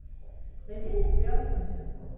найди мне сериал имя